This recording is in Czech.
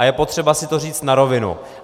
A je potřeba si to říct na rovinu.